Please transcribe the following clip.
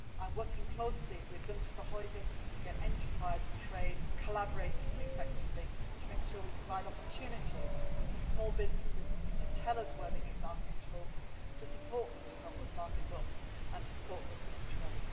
I am working closely with Günter Verheugen to get enterprise and trade collaborating effectively to make sure that we provide opportunities for small businesses to tell us where they need markets to open, to support them in helping those markets to open, and to support them in trade.